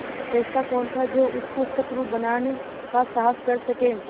ऐसा कौन था जो उसको शत्रु बनाने का साहस कर सके